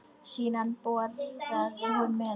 Síðan borðaði hún með okkur.